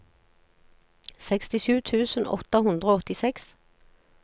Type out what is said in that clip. sekstisju tusen åtte hundre og åttiseks